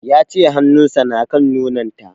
Ya ce hanun sa na kan nonon ta